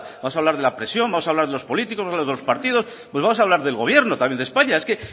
vamos a hablar de la presión vamos a hablar de los políticos de los partidos volvamos a hablar del gobierno también de españa es que